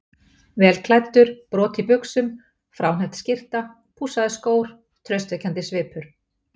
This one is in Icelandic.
Vel klæddur, brot í buxum, fráhneppt skyrta, pússaðir skór, traustvekjandi svipur.